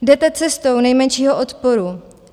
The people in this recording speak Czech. Jdete cestou nejmenšího odporu.